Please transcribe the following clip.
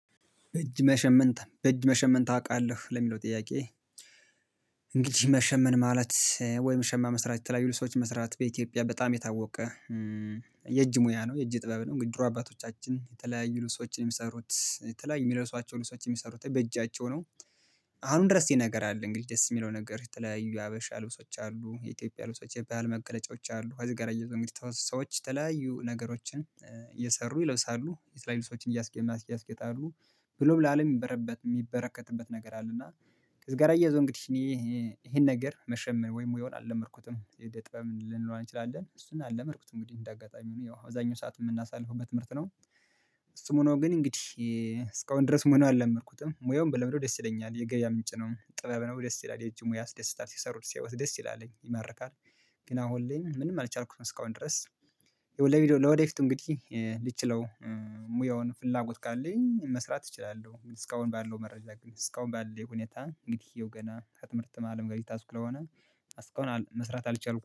በእጅ መሸመን በእጅ መሸመን ታውቃለህ ለሚለው ጥያቄ እንግዲህ መሸመን ማለት ወይ መሸማ መስራት የተለያዩ ሰዎች መስራት በኢትዮጵያ በጣም የታወቀ። የእጅ ሙያ ነው የእጅ ጥበብ ነው ድሮ አባቶቻችን የተለያዩ ልብሶችን የሚሰሩት የተለያዩ የሚለብሷቸው ልብሶችን የሚሰሩት በእጃቸው ነው። አሁንም ድረስ ይህ ነገር አለ እንግዲህ ደስ የሚለው ነገር የተለያዩ ሀበሻ ልብሶች አሉ የኢትዮጵያ ልብሶች የኢትዮጵያ መገለጫዎች አሉ። ከዚህ ጋር አያይዞ ደግሞ የተወሰኑ ሰዎች ተለያዩ ነገሮችን እየሰሩ ይለብሳሉ የተለያዩ ሰዎችን እያስጌጡ እያስጌጣሉ ብሎም ለአለም የሚበረበት የሚበረከትበት ነገር አለና። እና ከዚህ ጋር እያይዞ እንግዲህ ይሄን ነገር መሸመም ወይም ወይም አልለመርኩትም የጥበብ ልንለዋን እንችላለን እሱን አልለመድኩትም እንግዲህ እንደ አጋጣሚ ሆኖ ያው አዛኙ ሰዓት የምናሳልፈው ትምህርት ነው። እሱ ምን ነው? ግን እንግዲህ እስካሁን ድረስ ሙያውን አልለመድኩትም ሙያውን ብለምደው ደስ ይለኛል የገበያ ምንጭ ነው ጥበብ ነው ደስ ይላል የጅሙ ያስደስታል ሲሰሩት ሲሰሩት ደስ ይላለኝ ይመርካል። ግን አሁን ላይ ምንም አልቻልኩትም እስካሁን ድረስ። ይው ለቪዲዮ ለወደፊቱ እንግዲህ ልችለው። ሙያውን ፍላጎት ካለኝ መስራት እችላለሁ። እስካሁን ባለው መረጃ ግን እስካሁን ባለው ሁኔታ እንግዲህ ይኸው ገና ከትምህርት አለም ጋር የተያዝኩ ስለሆነ። አስክ አሁን መስራት አልቻልኩም